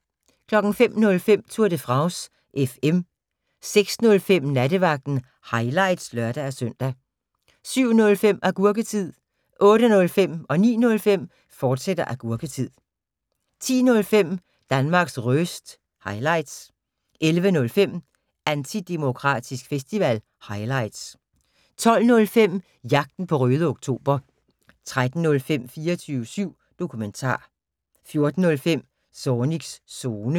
05:05: Tour de France FM 06:05: Nattevagten – highlights (lør-søn) 07:05: Agurketid 08:05: Agurketid, fortsat 09:05: Agurketid, fortsat 10:05: Danmarks Röst – highlights 11:05: Antidemokratisk Festival – highlights 12:05: Jagten på Røde Oktober 13:05: 24syv Dokumentar 14:05: Zornigs Zone